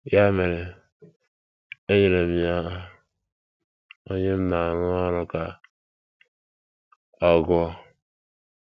Ya mere, enyere m ya onye m na - arụrụ ọrụ ka ọ gụọ.